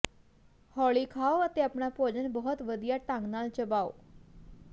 ਹੌਲੀ ਖਾਓ ਅਤੇ ਆਪਣਾ ਭੋਜਨ ਬਹੁਤ ਵਧੀਆ ਢੰਗ ਨਾਲ ਚਬਾਓ